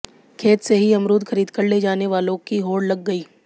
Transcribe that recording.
खेत से ही अमरूद खरीदकर ले जाने वालों की होड़ लग गई